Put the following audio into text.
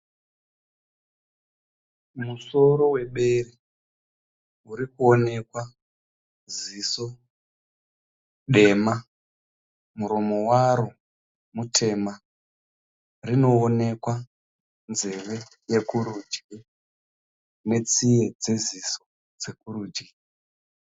Musoro webere urikonekwa ziso dema , muromo waro mutema. Rinowonekwa nzeve yekurudyi netsiye dzeziso dzekurudyi.